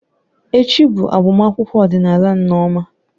Echi bụ agbamakwụkwọ ọdịnala Nneoma.